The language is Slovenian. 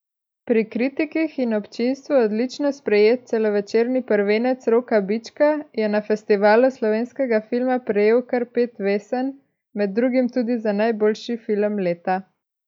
Pri kritikih in občinstvu odlično sprejet celovečerni prvenec Roka Bička je na Festivalu slovenskega filma prejel kar pet vesen, med drugimi tudi za najboljši film leta.